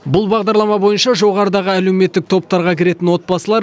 бұл бағдарлама бойынша жоғарыдағы әлеуметтік топтарға кіретін отбасылар